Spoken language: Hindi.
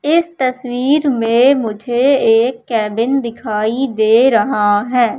इस तस्वीर में मुझे एक केबिन दिखाई दे रहा है।